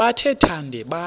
bathe thande phaya